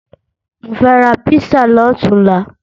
Mo fẹ́ ra písà lọ̀túnla